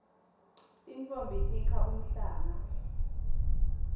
tintfombi tikha umhlanga